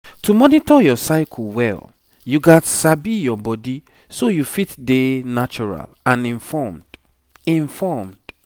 to monitor your cycle well you gats sabi your body so you fit dey natural and informed informed